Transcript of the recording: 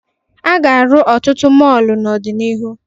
A ga-arụ ọtụtụ mọọlụ n'ọdịnihu.